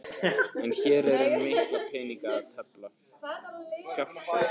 En hér er um mikla peninga að tefla, fjársjóð!